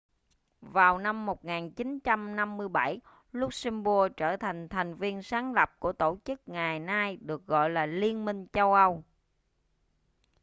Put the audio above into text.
vào năm 1957 luxembourg trở thành thành viên sáng lập của tổ chức ngày nay được gọi là liên minh châu âu